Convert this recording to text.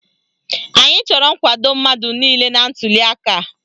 Anyị chọrọ nkwado mmadụ niile na ntuliaka a.